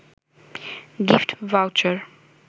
gift voucher